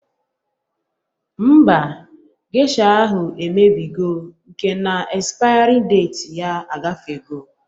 Mba, gesha ahụ emebigo mka na espayari deti ya agafego